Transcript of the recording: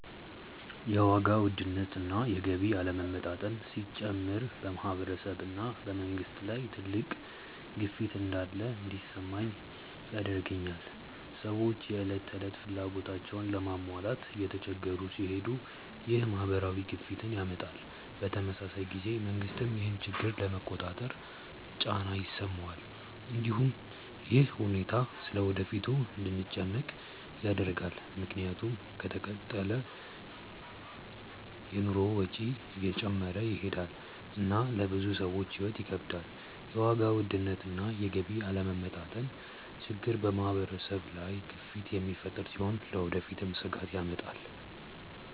የዋጋ ውድነት እና የገቢ አለመመጣጠን ሲጨምር በማህበረሰብ እና በመንግስት ላይ ትልቅ ግፊት እንዳለ እንዲሰማኝ ያደርገኛል። ሰዎች የዕለት ተዕለት ፍላጎታቸውን ለመሟላት እየተቸገሩ ሲሄዱ ይህ ማህበራዊ ግፊትን ያመጣል። በተመሳሳይ ጊዜ መንግስትም ይህን ችግር ለመቆጣጠር ጫና ይሰማዋል። እንዲሁም ይህ ሁኔታ ስለ ወደፊቱ እንድንጨነቅ ያደርጋል፣ ምክንያቱም ከተቀጠለ የኑሮ ወጪ እየጨመረ ይሄዳል እና ለብዙ ሰዎች ሕይወት ይከብዳል። የዋጋ ውድነት እና የገቢ አለመመጣጠን ችግር በማህበረሰብ ላይ ግፊት የሚፈጥር ሲሆን ለወደፊትም ስጋት ያመጣል።